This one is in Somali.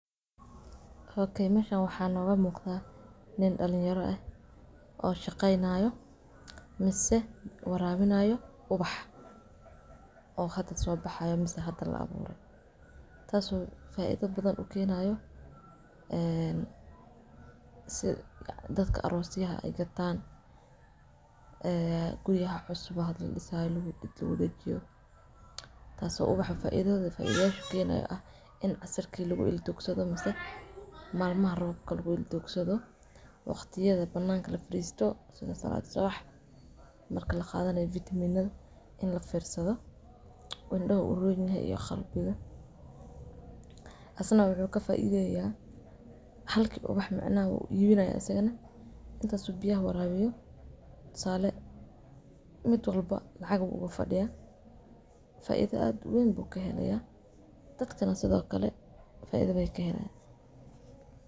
Meshan waxa nogo muqda nin dalinyaro aah oo shaqeynayo mise warabinayo ubax oo hada soo baxayo mise hada labure. Taaso faidha badan u kenayo si dadka aroosyaha gataan guriyaha cusub hada ladisayo lagu wadadajiyo. Taaso ubax faidhat kukenayo aah in casirka laigu ildugsadho mise malmaha roobka lagu ildugsadho waqtiyadha bananka lafadisto oo saalad subax marka lagadhanayo vitaminyada oo lafirsadho hinadaha u roonyahay iyo qalbiqu isna wuxu kafaidheya halki ubax uu ibinayo asagana intaas oo biyaha warabiyo tusale midwalba lacaq uu ugafadiya faidha aad uweyn bu kahelaya dadkana sidho kale faidha bay kaheleyan.